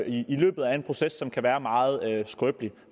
i løbet af en proces som kan være meget skrøbelig